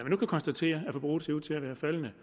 nu kan konstatere at forbruget ser ud til at være faldende